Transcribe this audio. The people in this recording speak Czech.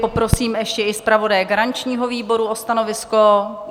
Poprosím ještě i zpravodaje garančního výboru o stanovisko.